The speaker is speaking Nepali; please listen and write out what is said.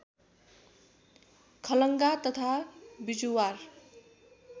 खलङ्गा तथा बिजुवार